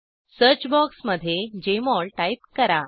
search box मध्ये JMOL type करा